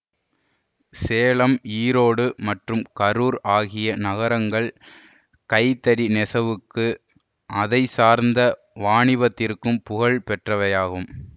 சேலம் ஈரோடு மற்றும் கரூர் ஆகிய நகரங்கள் கைத்தறி நெசவுக்கு அதைச்சார்ந்த வாணிபத்திற்கும் புகழ் பெற்றவையாகும்